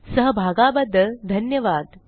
सहभागाबद्दल धन्यवाद